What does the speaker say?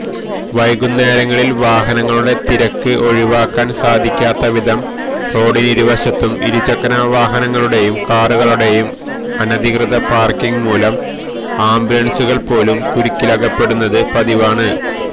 വൈകുന്നേരങ്ങളില് വാഹനങ്ങളുടെ തിരക്ക് ഒഴിവാക്കാന് സാധിക്കാത്തവിധം റോഡിനിരുവശത്തും ഇരുചക്രവാഹനങ്ങളുടെയും കാറുകളുടെയും അനധികൃത പാര്ക്കിംഗ് മൂലം ആംബുലന്സുകള് പോലും കുരുക്കിലകപ്പെടുന്നത് പതിവാണ്